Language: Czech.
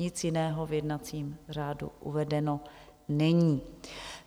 Nic jiného v jednacím řádu uvedeno není.